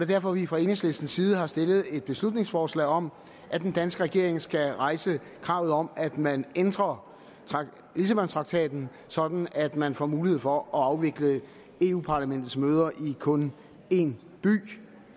derfor at vi fra enhedslistens side har stillet et beslutningsforslag om at den danske regering skal rejse kravet om at man ændrer lissabontraktaten sådan at man får mulighed for at afvikle europa parlamentets møder i kun en by